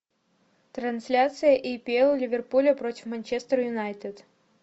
трансляция апл ливерпуля против манчестер юнайтед